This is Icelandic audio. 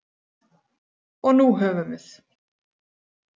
Og nú höfum við